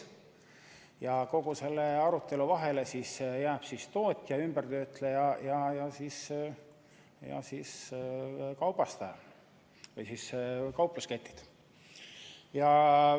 Ja kogu selle arutelu vahele jäävad tootjad, töötlejad ja kaubastajad, kaupluseketid.